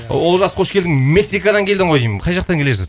олжас қош келдің мексикадан келдің ғой деймін қай жақтан келесіз